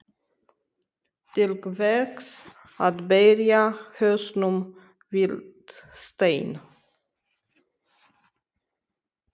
Til hvers að berja hausnum við stein?